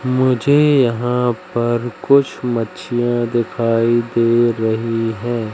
मुझे यहां पर कुछ मछलियां दिखाई दे रही हैं।